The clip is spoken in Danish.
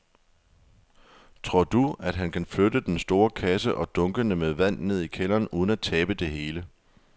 Tror du, at han kan flytte den store kasse og dunkene med vand ned i kælderen uden at tabe det hele?